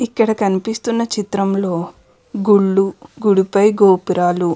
ఇక్కడ కనిపిస్తున్న చిత్రంలో గుళ్ళు గూడుపై గోపురాలు --